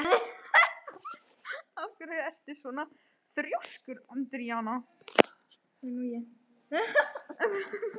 Af hverju ertu svona þrjóskur, Andríana?